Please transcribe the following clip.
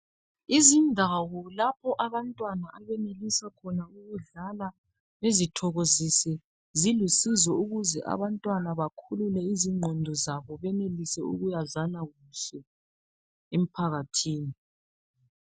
Izindawo lapho abantwana abenelisa khona ukudlala zilusizo ukuze abantwana bakhulule izinqondo zabo beyenelise ukuyazana kuhle emphakathini